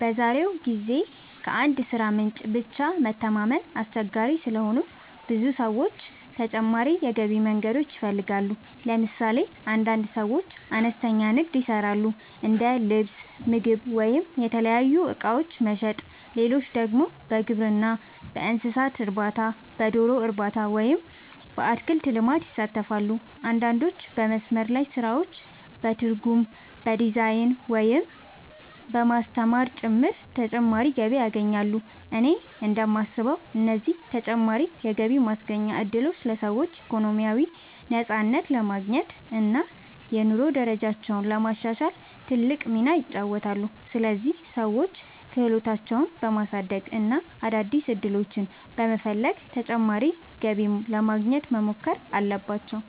በዛሬው ጊዜ ከአንድ የሥራ ምንጭ ብቻ መተማመን አስቸጋሪ ስለሆነ ብዙ ሰዎች ተጨማሪ የገቢ መንገዶችን ይፈልጋሉ። ለምሳሌ አንዳንድ ሰዎች አነስተኛ ንግድ ይሰራሉ፤ እንደ ልብስ፣ ምግብ ወይም የተለያዩ እቃዎች መሸጥ። ሌሎች ደግሞ በግብርና፣ በእንስሳት እርባታ፣ በዶሮ እርባታ ወይም በአትክልት ልማት ይሳተፋሉ። አንዳንዶች በመስመር ላይ ስራዎች፣ በትርጉም፣ በዲዛይን፣ ወይም በማስተማር ጭምር ተጨማሪ ገቢ ያገኛሉ። እኔ እንደማስበው እነዚህ ተጨማሪ የገቢ ማስገኛ እድሎች ለሰዎች ኢኮኖሚያዊ ነፃነት ለማግኘት እና የኑሮ ደረጃቸውን ለማሻሻል ትልቅ ሚና ይጫወታሉ። ስለዚህ ሰዎች ክህሎታቸውን በማሳደግ እና አዳዲስ ዕድሎችን በመፈለግ ተጨማሪ ገቢ ለማግኘት መሞከር አለባቸው።